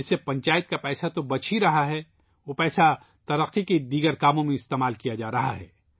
اس سے پنچایت کا پیسہ تو بچ ہی رہا ہے اور پیسہ دوسرے کاموں کے لئے استعمال کیا جا رہا ہے